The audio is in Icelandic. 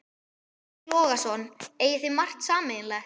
Breki Logason: Eigið þið margt sameiginlegt?